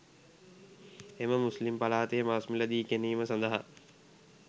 එම මුස්ලිම් පලාතේ මස් මිළදී ගැනීම සදහා